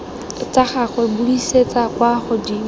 tsa gagwe buisetsa kwa godimo